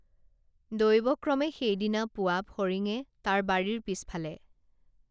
দৈৱক্ৰমে সেইদিনা পুৱা ফৰিঙে তাৰ বাৰীৰ পিছফালে